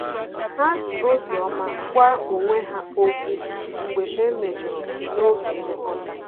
Ha ji obiọma gwa onwe ha okwu mgbe e mejọrọ n'oge nlekọta